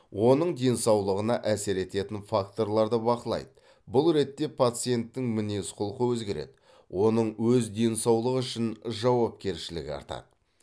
оның денсаулығына әсер ететін факторларды бақылайды бұл ретте пациенттің мінез құлқы өзгереді оның өз денсаулығы үшін жауапкершілігі артады